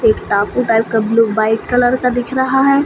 एक डाकू टाइप का ब्लू वाइट कलर का दिख रहा है।